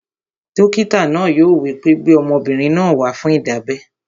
Dókítà náà yóò wí pé, "gbé ọmọbìnrin náà wá fún ìdábẹ́!"